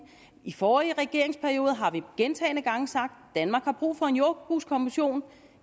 i de forrige regeringsperioder har vi gentagne gange sagt at danmark havde brug for en jordbrugskommission